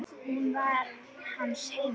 Hún var hans heima.